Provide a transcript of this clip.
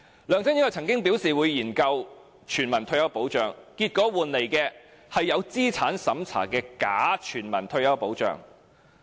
梁振英曾經表示會研究全民退休保障，結果我們得到的是有資產審查的假全民退休保障。